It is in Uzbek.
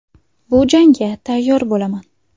Bu jangga tayyor bo‘laman.